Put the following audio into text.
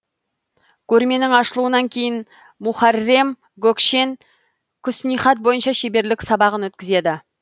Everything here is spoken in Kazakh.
көрменің ашылуынан кейін мухаррем гөкшен құснихат бойынша шеберлік сабағын өткізеді